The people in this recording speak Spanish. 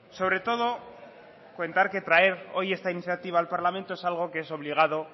sobre todo contar que traer hoy esta iniciativa al parlamento es algo que es obligado